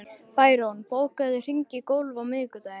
Bæron, bókaðu hring í golf á miðvikudaginn.